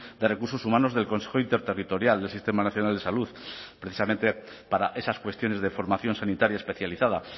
de recursos humanos del consejo interterritorial del sistema nacional de salud precisamente para esas cuestiones de formación sanitaria especializada